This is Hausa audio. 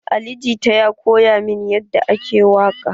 Ali jita ya koya min yadda ake waƙa.